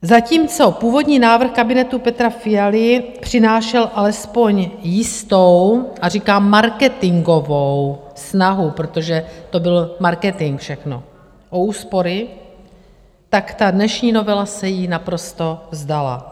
Zatímco původní návrh kabinetu Petra Fialy přinášel alespoň jistou, a říkám marketingovou, snahu, protože to byl marketing všechno, o úspory, tak ta dnešní novela se jí naprosto vzdala.